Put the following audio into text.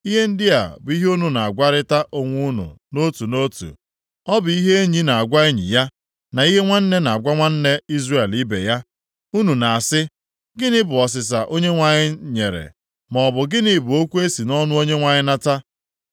Ihe ndị a bụ ihe unu na-agwarịta onwe unu nʼotu nʼotu. Ọ bụ ihe enyi na-agwa enyi ya, na ihe nwanna na-agwa nwanna Izrel ibe ya. Unu na-asị, ‘Gịnị bụ ọsịsa Onyenwe anyị nyere?’ maọbụ, ‘Gịnị bụ okwu e si nʼọnụ Onyenwe anyị nata?’